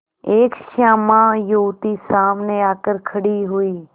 एक श्यामा युवती सामने आकर खड़ी हुई